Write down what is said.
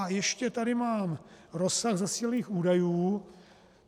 A ještě tady mám rozsah zasílaných údajů.